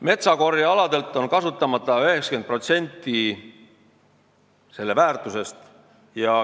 Metsakorjealade väärtusest on kasutamata 90%.